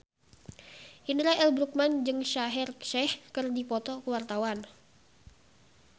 Indra L. Bruggman jeung Shaheer Sheikh keur dipoto ku wartawan